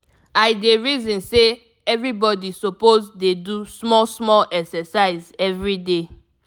i dey reason say everybody suppose dey do small small exercise everyday.